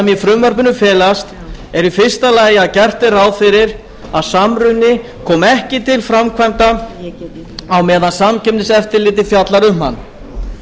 í frumvarpinu felast eru í fyrsta lagi að gert er ráð fyrir að samruni komi ekki til framkvæmda á meðan samkeppniseftirlitið fjallar um hann